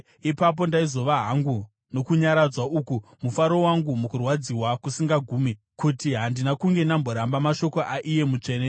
Ipapo ndaizova hangu nokunyaradzwa uku, mufaro wangu mukurwadziwa kusingagumi, kuti handina kunge ndamboramba mashoko aiye Mutsvene.